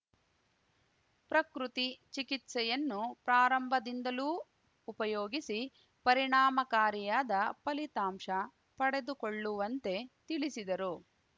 ಪ್ರಕೃತಿ ಚಿಕಿತ್ಸೆಯನ್ನು ಪ್ರಾರಂಭದಿಂದಲೂ ಉಪಯೋಗಿಸಿ ಪರಿಣಾಮಕಾರಿಯಾದ ಫಲಿತಾಂಶ ಪಡೆದುಕೊಳ್ಳುವಂತೆ ತಿಳಿಸಿದರು